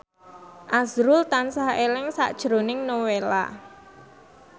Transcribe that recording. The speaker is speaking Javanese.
azrul tansah eling sakjroning Nowela